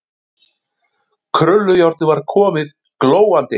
Krullujárnið var komið, glóandi heitt.